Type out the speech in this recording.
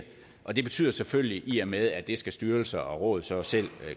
og det betyder selvfølgelig i og med at det skal styrelser og råd så selv